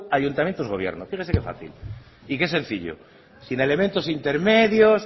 ayuntamientos gobierno fíjese que fácil y que sencillo sin elementos intermedios